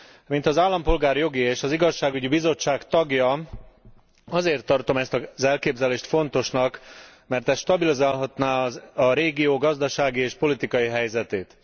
Mint az Állampolgári Jogi, Bel és Igazságügyi Bizottság tagja azért tartom ezt az elképzelést fontosnak, mert ez stabilizálhatná a régió gazdasági és politikai helyzetét.